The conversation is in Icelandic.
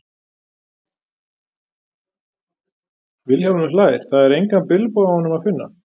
Vilhjálmur hlær, það er engan bilbug á honum að finna.